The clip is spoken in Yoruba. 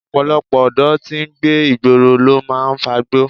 Ọ̀pọ̀lọpọ̀ ọ̀dọ́ tí ń gbé ìgboro ló máa ń fagbó